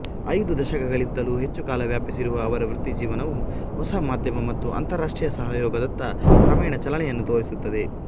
ಐದು ದಶಕಗಳಿಗಿಂತಲೂ ಹೆಚ್ಚು ಕಾಲ ವ್ಯಾಪಿಸಿರುವ ಅವರ ವೃತ್ತಿಜೀವನವು ಹೊಸ ಮಾಧ್ಯಮ ಮತ್ತು ಅಂತರರಾಷ್ಟ್ರೀಯ ಸಹಯೋಗದತ್ತ ಕ್ರಮೇಣ ಚಲನೆಯನ್ನು ತೋರಿಸುತ್ತದೆ